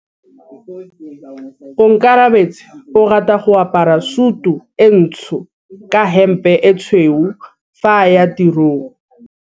Onkabetse o rata go apara sutu e ntsho ka hempe e tshweu fa a ya tirong.